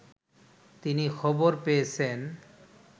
তিনি খবর পেয়েছেন